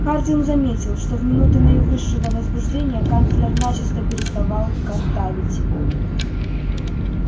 хардин заметил что в минуты наивысшего возбуждения канцлер начисто переставал картавить